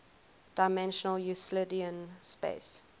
dimensional euclidean space